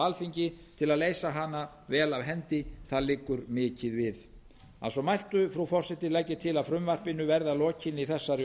alþingi til að leysa hana vel af hendi það liggur mikið við að svo mæltu frú forseti legg ég til að frumvarpinu verði að lokinni þessari